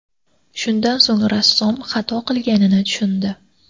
Shundan so‘ng rassom xato qilganini tushundi.